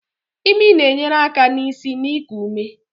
Imi na-enyere aka n'isi na iku ume.